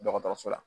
Dɔgɔtɔrɔso la